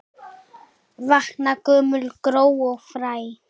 Vakna gömul gró og fræ.